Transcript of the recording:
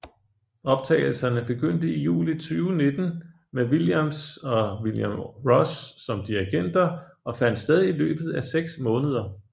Optagelserne begyndte i juli 2019 med Williams og William Ross som dirigenter og fandt sted i løbet af seks måneder